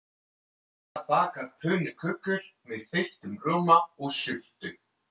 Hanna bakar pönnukökur með þeyttum rjóma og sultu.